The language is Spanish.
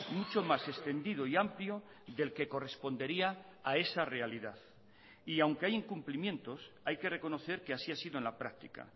mucho mas extendido y amplio del que correspondería a esa realidad y aunque hay incumplimientos hay que reconocer que así ha sido en la práctica